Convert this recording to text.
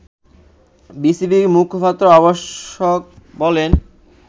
বিসিবির মুখপাত্র অবশ্য বলেন